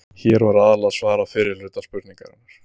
Hér var aðallega svarað fyrri hluta spurningarinnar.